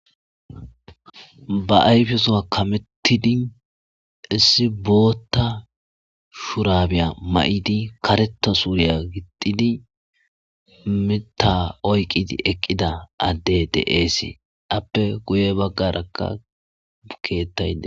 ba ayfesowa kamettidi issi bootta shurabiya ma7idi karetta suuriya gixidi mita oyqidi eqqida addey de7eesi appe guye baggarakka ukeettay de